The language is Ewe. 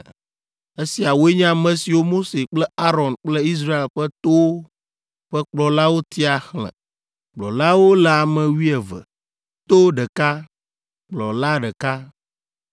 Esiawoe nye ame siwo Mose kple Aron kple Israel ƒe towo ƒe kplɔlawo tia xlẽ. Kplɔlawo le ame wuieve: to ɖeka, kplɔla ɖeka